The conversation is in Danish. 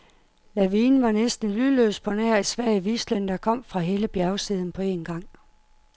Lavinen var næsten lydløs på nær et svag hvislen, der kom fra hele bjergsiden på en gang.